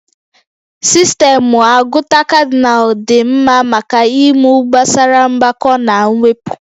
Sistemụ agụta Kadịnal dị mma maka ịmụ gbasara mgbakọ na mwepụ